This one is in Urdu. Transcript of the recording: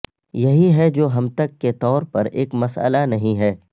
یہی ہے جو ہم تک کے طور پر ایک مسئلہ نہیں ہے